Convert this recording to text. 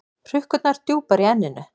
Hrukkurnar djúpar í enninu.